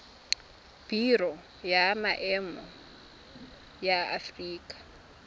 biro ya maemo ya aforika